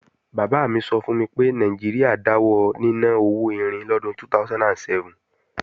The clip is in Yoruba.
Bàbá mi sọ fún mi pé Nàìjíríà dáwọ níná owó irin lọ́dún 2007